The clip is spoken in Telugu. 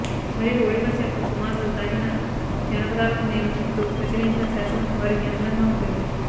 మరియు ఓడిపస్ యొక్క కుమారులు తాకిన జానపదాలకు నేను ఇప్పుడు ప్రచురించిన శాసనం వారికి అనుగుణంగా ఉంటుంది